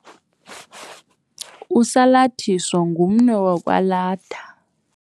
Usalathiso ngumnwe wokwalatha.